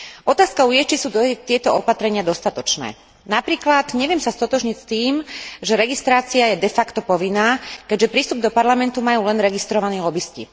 Otázkou je, či sú tieto opatrenia dostatočné. Napríklad neviem sa stotožniť s tým, že registrácia je de facto povinná, keďže prístup do Parlamentu majú len registrovaní lobisti.